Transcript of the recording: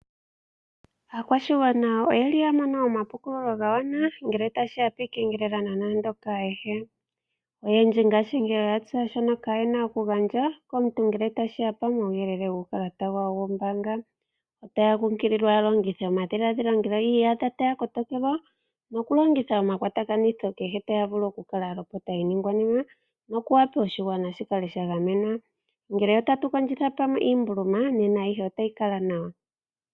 Aakwashigwa oya mona omapukululo ga gwana ngele tashi ya pomakengelelo, nonando haayehe. Oyendji ngaashingeyi oya tseya shoka kaaye na okugandja komuntu, ngele taye ya puukalata wawo wombanga. Otaya kumagidhwa opo ya longithe omadhiladhilo gawo ngele oyi iyadha taya kotokelwa nokulongitha omakwatathano kehe mokulopota iiningwanima, opo ku wape oshigwana shi kale sha gamenwa. Ngele otatu kondjitha pamwe iimbuluma, ayihe otayi kala nawa.